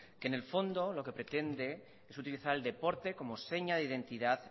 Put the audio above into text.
que en el fondo lo que pretende es utilizar el deporte como seña de identidad